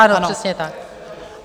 Ano, přesně tak.